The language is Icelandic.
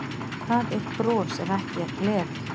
Hvað er bros ef ekki er gleði?